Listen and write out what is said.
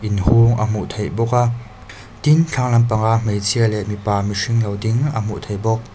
inhung a hmuh theih bawk a tin thlang lam panga hmeichhia leh mipa mihring lo ding a hmuh theih bawk.